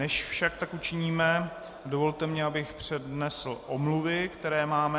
Než však tak učiníme, dovolte mi, abych přednesl omluvy, které máme.